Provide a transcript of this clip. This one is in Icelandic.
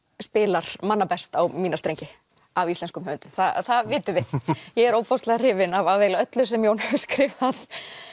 spilar manna best á mína strengi af íslenskum höfundum það vitum við ég er ofboðslega hrifin af af eiginlega öllu sem Jón hefur skrifað